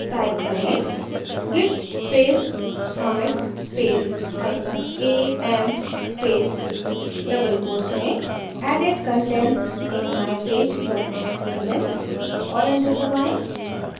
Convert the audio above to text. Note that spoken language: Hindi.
type करें: git space commit space hyphen a m space double quotes में added content in mypage html और enter दबाएँ